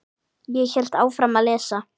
Ég hélt áfram að lesa.